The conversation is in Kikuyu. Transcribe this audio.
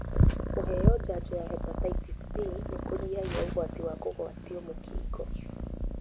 Kũheo janjo ya Hepatitis B nĩkũnyihagia ũgwati wa kũgwatio mũkingo.